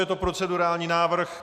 Je to procedurální návrh.